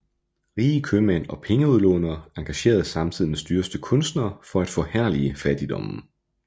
Rige købmænd og pengeudlånere engagerede samtidens dyreste kunstnere for at forherlige fattigdommen